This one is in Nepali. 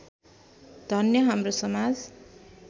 धन्य हाम्रो समाज